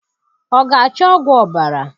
Ọ ga-acho ọgwụ ọbara?